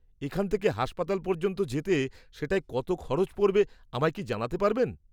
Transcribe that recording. এখান থেকে হাসপাতাল পর্যন্ত যেতে সেটায় কত খরচ পড়বে আমায় কি জানাতে পারবেন?